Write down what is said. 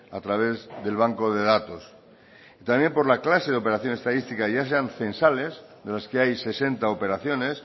a través del banco de datos y también por la clase de operación estadística ya sean censales de las que hay sesenta operaciones